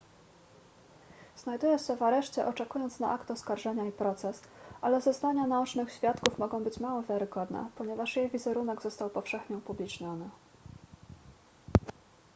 znajduje się w areszcie oczekując na akt oskarżenia i proces ale zeznania naocznych świadków mogą być mało wiarygodne ponieważ jej wizerunek został powszechnie upubliczniony